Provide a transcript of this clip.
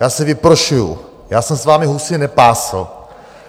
Já si vyprošuji, já jsem s vámi husy nepásl.